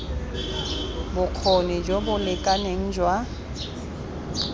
bokgoni jo bo lekaneng jwa